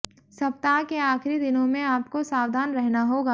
सप्ताह के आखिरी दिनों में आपको सावधान रहना होगा